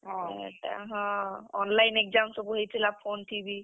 ହଁ ହେଟା ହଁ, online exam ସବୁ ହେଇଥିଲା phone ଥି ବି।